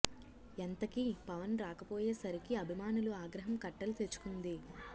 ఎంతకీ పవన్ రాకపోయే సరికి అభిమానులు ఆగ్రహం కట్టలు తెచుకుంది